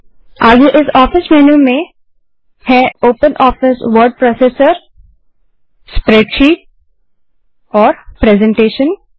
फिर आगे इस ऑफिस मेन्यू में हमारे पास ओपनऑफिस वर्ड प्रोसेसर स्प्रेडशीट और प्रेसेंटेशन है